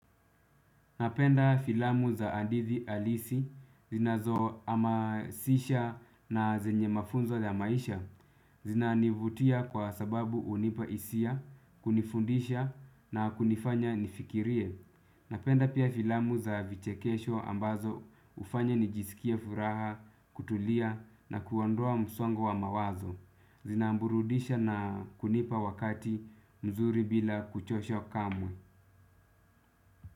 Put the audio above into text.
Napenda filamu za hadithi halisi zinazo hamasisha na zenye mafunzo ya maisha zinanivutia kwa sababu hunipa hisia, kunifundisha na kunifanya nifikirie. Napenda pia filamu za vichekesho ambazo hufanya nijisikie furaha, kutulia na kuondoa msongo wa mawazo. Zinamburudisha na kunipa wakati mzuri bila kuchosho kamwe.